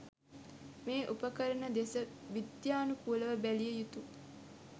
මේ උපකරණ දෙස විද්‍යනුකූලව බැලිය යුතු